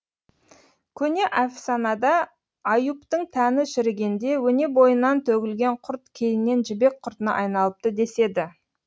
көне әфсанада аюптың тәні шірігенде өне бойынан төгілген құрт кейіннен жібек құртына айналыпты деседі